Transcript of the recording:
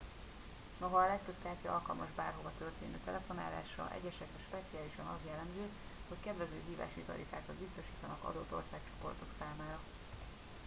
noha a legtöbb kártya alkalmas bárhova történő telefonálásra egyesekre speciálisan az jellemző hogy kedvező hívási tarifákat biztosítanak adott országcsoportok számára